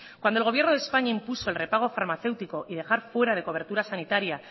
cuando el gobierno de españa impuso el regapo farmacéutico y dejar fuera de cobertura sanitaria